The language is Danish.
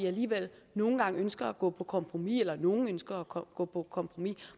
alligevel nogle gange ønsker at gå på kompromis eller nogle ønsker at gå på på kompromis